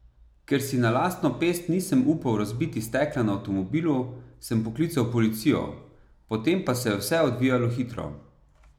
Ker si na lastno pest nisem upal razbiti stekla na avtomobilu, sem poklical policijo, potem pa se je vse odvijalo hitro.